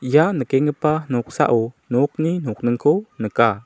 ia nikenggipa noksao nokni nokningko nika.